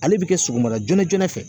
Ale bɛ kɛ sɔgɔmada joona joona fɛ